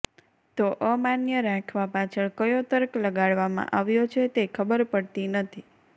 તો અમાન્ય રાખવા પાછળ કયો તર્ક લગાડવામાં આવ્યો છે તે ખબર પડતી નથી